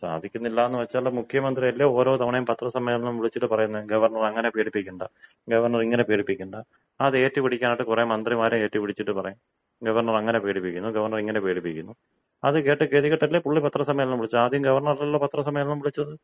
സാധിക്കുന്നില്ല എന്ന് വച്ചാൽ മുഖ്യമന്ത്രിയല്ലേ ഓരോ തവണ പത്രസമ്മേളനം വിളിച്ചിട്ട് പറയുന്നേ ഗവർണർ അങ്ങനെ പേടിപ്പിക്കേണ്ട ഗവർണർ ഇങ്ങനെ പേടിപ്പിക്കണ്ട അത് ഏറ്റുപിടിക്കാൻ ആയിട്ട് കുറെ മന്ത്രിമാരെ ഏറ്റുപിടിപ്പിച്ചിട്ട് പറയും ഗവർണർ അങ്ങനെ പേടിപ്പിക്കുന്നു ഗവർണർ ഇങ്ങനെ പേടിപ്പിക്കുന്നു. അത് കേട്ട് ഗതികെട്ടല്ലേ പുള്ളി പത്ര സമ്മേളനം വിളിച്ചത്. ആദ്യം ഗവർണറല്ലല്ലോ പത്രസമ്മേളനം വിളിച്ചത്.